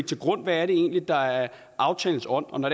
til grund hvad det egentlig er der er aftalens ånd og når